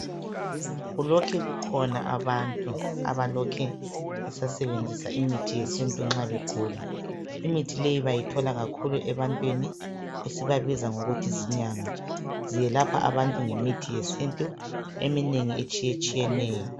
Kulokhe kukhona abantu abalokhe besasebenzisa imithi yesintu nxa begula. lmithi leyi, bayithola kakhulu ebantwini, esibabiza ngokuthi zinyanga. Belapha abantu ngemithi yesintu, eminengi, etshiyetshiyeneyo,